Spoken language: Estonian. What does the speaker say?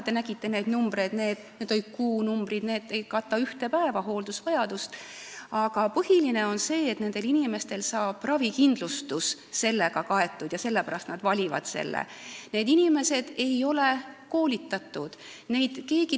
Te nägite neid summasid, need olid kuu summad, mis ei kata isegi ühe päeva hooldusvajadust, aga põhiline on see, et ravikindlustus saab kaetud ja sellepärast need inimesed valivad selle.